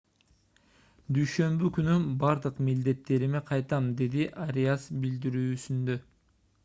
дүйшөмбү күнү бардык милдеттериме кайтам - деди ариас билдирүүсүндө